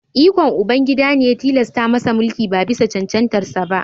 Ikon Ubangida ne ya tilasta masa mulki ba bisa cancantarsa ​​ba